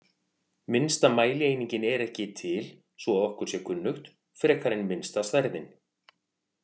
Minnsta mælieiningin er ekki til svo að okkur sé kunnugt, frekar en minnsta stærðin.